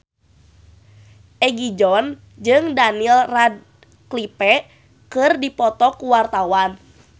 Egi John jeung Daniel Radcliffe keur dipoto ku wartawan